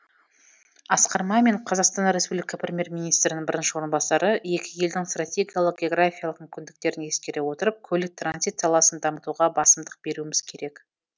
асқар мамин қазақстан республика премьер министрінің бірінші орынбасары екі елдің стратегиялық географиялық мүмкіндіктерін ескере отырып көлік транзит саласын дамытуға басымдық беруіміз керек